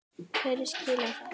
Hverju skilaði það?